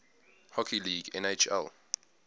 hockey league nhl